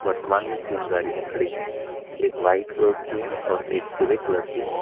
वर्तमान में तीन गाड़ियाँ खड़ी हैं एक व्हाइट कलर की है और एक ग्रे कलर की है।